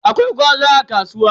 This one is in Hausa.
Akwai gwaza a kasuwa.